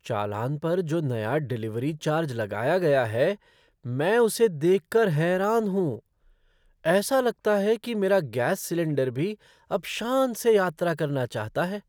चालान पर जो नया डिलिवरी चार्ज लगाया गया है मैं उसे देख कर हैरान हूँ। ऐसा लगता है कि मेरा गैस सिलेंडर भी अब शान से यात्रा करना चाहता है!